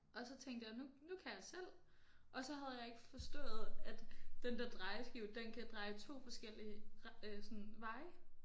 Og så tænkte jeg nu nu kan jeg selv og så havde jeg ikke forstået at den der drejeskive den kan dreje 2 forskellige ret øh sådan veje